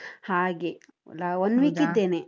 ಹಾಗೆ ನಾ ಒಂದ್ week ಇದ್ದೇನೆ.